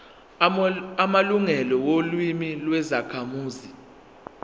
amalungelo olimi lwezakhamuzi